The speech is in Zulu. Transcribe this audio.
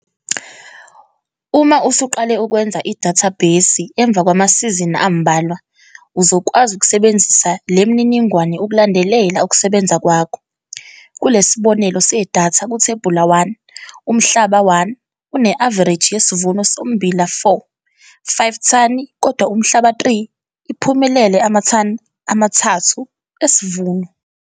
Uma usuqale ukwenza idathabhesi emva kwamasizini ambalwa uzokwazi ukusebenzisa le mininingwane ukulandelela ukusebenza kwakho. Kule sibonelo sedatha ku-Thebula 1, Umhlaba 1 une-avareji yesivuno sommbila 4,5 thani, kodwa uMhlaba 3 iphumelele amathani ama-3 esivuno.